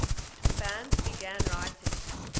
bands began writing